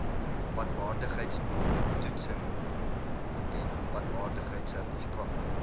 padwaardigheidtoetsing n padwaardigheidsertifikaat